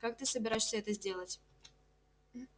как ты собираешься это сделать